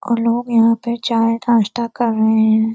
और लोग यहाँ पे चाय नास्ता कर रहे हैं।